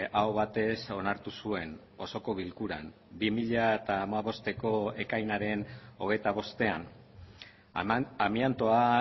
aho batez onartu zuen osoko bilkuran bi mila hamabosteko ekainaren hogeita bostean amiantoa